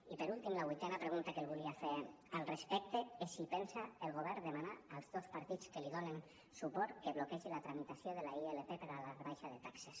i per últim la vuitena pregunta que li volia fer al respecte és si pensa el govern demanar als dos partits que li donen suport que bloquegin la tramitació de la ilp per a la rebaixa de taxes